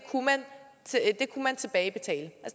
kunne man tilbagebetale